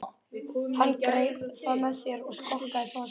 Hann greip það með sér og skokkaði svo af stað.